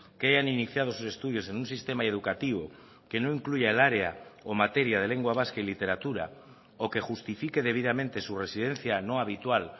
que hayan iniciado sus estudios en un sistema educativo que no incluya el área o materia de lengua vasca y literatura o que justifique debidamente su residencia no habitual